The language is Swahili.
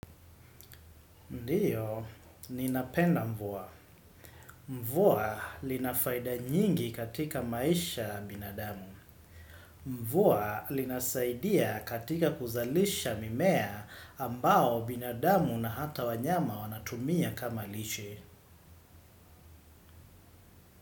Ndio, ninapenda mvua. Mvua lina faida nyingi katika maisha ya binadamu. Mvua linasaidia katika kuzalisha mimea ambao binadamu na hata wanyama wanatumia kama lishe.